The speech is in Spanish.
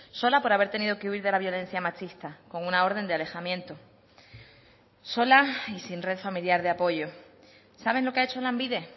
sola por haber tenido que huir de la violencia machista con una orden de alejamiento sola y sin red familiar de apoyo saben lo qué ha hecho lanbide